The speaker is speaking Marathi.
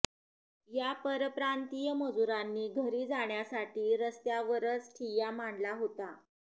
या परप्रांतीय मजूरांनी घरी जाण्यासाठी रस्त्यावरच ठिय्या मांडला होता